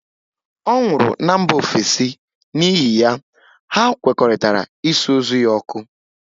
Ọ nwụrụ na mba ofesi, n'ihi ya, hà nkwekọrịtara ịsụ ozu ya ọkụ